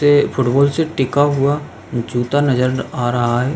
ते फुटबॉल से टिका हुआ जूता नजर आ रहा है।